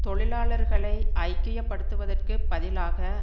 தொழிலாளர்களை ஐக்கியப்படுத்துவதற்குப் பதிலாக